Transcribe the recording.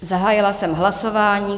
Zahájila jsem hlasování.